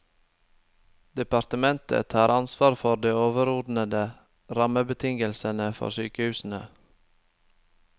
Departementet har ansvar for de overordnede rammebetingelsene for sykehusene.